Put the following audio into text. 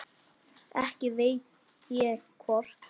Ekki veit ég hvort